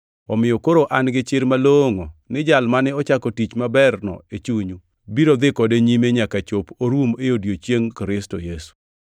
omiyo koro an gichir malongʼo ni Jal mane ochako tich maberno e chunyu biro dhi kode nyime nyaka chop orum e odiechieng Kristo Yesu.